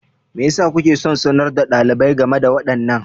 Me yasa kuke son sanar da ɗalibai game da waɗannan?